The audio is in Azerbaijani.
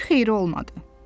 Bir xeyri olmadı.